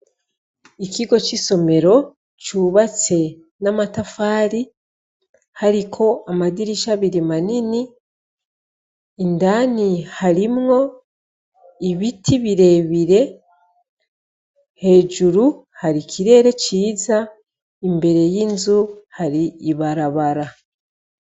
Ikigo c'isomero cubatse n'amatafari hariko amadirisha abiri manini, indani harimwo ibiti birebire, hejuru hari ikirere ciza, imbere y'inzu hari ibarabara.